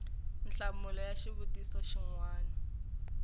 nhlamulo ya xivutiso xin wana